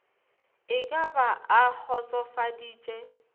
e ka ba a kgotsofaditše